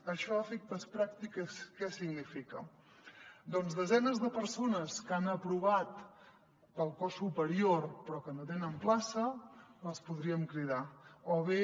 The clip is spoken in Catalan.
això a efectes pràctics què significa doncs desenes de persones que han aprovat per al cos superior però que no tenen plaça els podríem cridar o bé